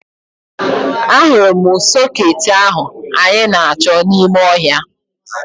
Ahụrụ m sọkeetị ahụ anyị na-achọ n'ime ọhịa